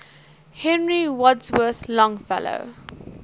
henry wadsworth longfellow